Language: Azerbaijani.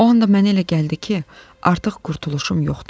O anda mənə elə gəldi ki, artıq qurtuluşum yoxdu.